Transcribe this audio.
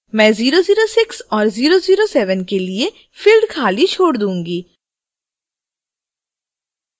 मैं 006 और 007 के लिए फिल्ड खाली छोड दूंगी